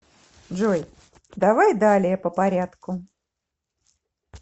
джой давай далее по порядку